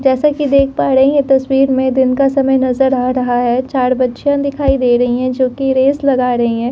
जैसा कि देख पा रहे हैं तस्वीर में दिन का समय नजर आ रहा है चार बच्चियां दिखाई दे रहा है रेस लगा रही हैं।